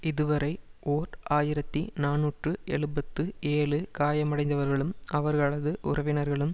இதுவரை ஓர் ஆயிரத்தி நாநூற்று எழுபத்து ஏழு காயமடைந்தவர்களும் அவர்களது உறவினர்களும்